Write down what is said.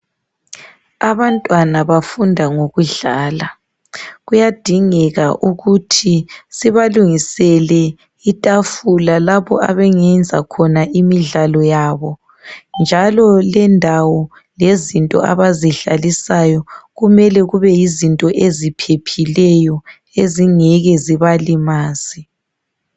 Abantwana bafunda ngokudlala, kuyadingeka ukuthi sibalungisele itafula lapho abangenza khona imidlalo yabo. Njalo lendawo lezinto abazidlalisayo kumele kubeyizinto eziphepheliyo ezingeke zibalimaze.